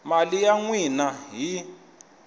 mali ya n wina hi